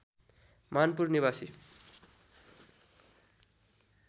मानपुर निवासी